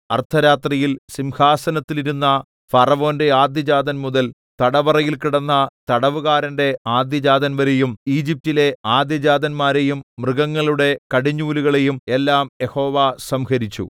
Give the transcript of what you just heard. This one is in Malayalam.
അർദ്ധരാത്രിയിൽ സിംഹാസനത്തിലിരുന്ന ഫറവോന്റെ ആദ്യജാതൻ മുതൽ തടവറയിൽ കിടന്ന തടവുകാരന്റെ ആദ്യജാതൻ വരെയും ഈജിപ്റ്റിലെ ആദ്യജാതന്മാരെയും മൃഗങ്ങളുടെ കടിഞ്ഞൂലുകളെയും എല്ലാം യഹോവ സംഹരിച്ചു